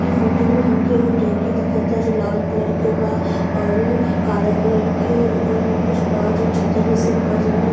इ फोटो में हमके एगो टंकी दिखता जो लाल कलर के बा और उ काला कलर के ऊपर में कुछ बा जो छज्जा जइसन बा। जेमे --